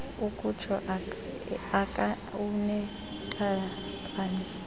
ukutsho aka unentaphane